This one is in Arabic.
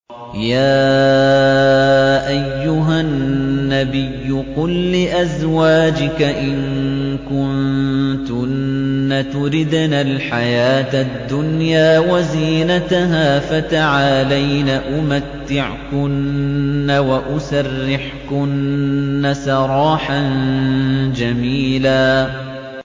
يَا أَيُّهَا النَّبِيُّ قُل لِّأَزْوَاجِكَ إِن كُنتُنَّ تُرِدْنَ الْحَيَاةَ الدُّنْيَا وَزِينَتَهَا فَتَعَالَيْنَ أُمَتِّعْكُنَّ وَأُسَرِّحْكُنَّ سَرَاحًا جَمِيلًا